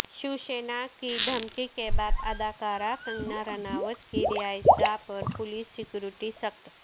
شیوسینا کی دھمکی کے بعد اداکارہ کنگنارناوت کی رہائش گاہ پر پولیس سیکورٹی سخت